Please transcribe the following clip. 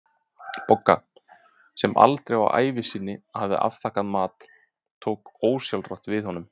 Bogga, sem aldrei á ævi sinni hafði afþakkað mat, tók ósjálfrátt við honum.